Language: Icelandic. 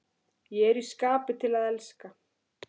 Ég er í skapi til að elska!